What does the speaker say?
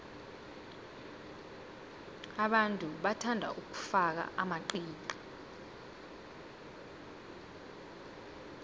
abantu bathanda ukufaka amaqiqi